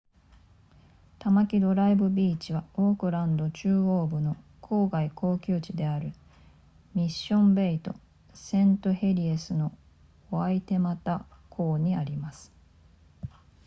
タマキドライブビーチはオークランド中央部の郊外高級地であるミッションベイとセントヘリエスのワイテマタ港にあります